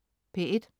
P1: